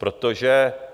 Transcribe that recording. Protože...